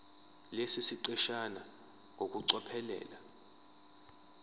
lesi siqeshana ngokucophelela